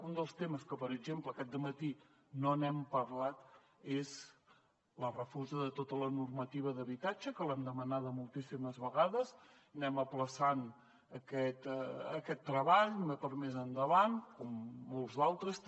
un dels temes que per exemple aquest dematí no hem parlat és la refosa de tota la normativa d’habitatge que l’hem demanada moltíssimes vegades anem aplaçant aquest treball per a més endavant com molts d’altres també